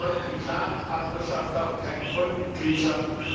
Wir wollen eine klare Partnerschaft, aber keine Vollmitgliedschaft.